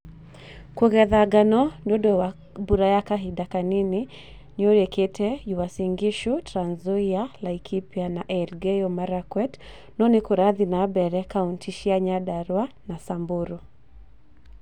Kũgetha ngano nĩundũ wa mbura ya kahinda kanene nĩkũrĩkite Uasin Gishu, Trans Nzoia, Laikipia na Elgeyo Marakwet no nĩkũrathiĩ na mbere kauntĩ cia Nyandarua na Samburu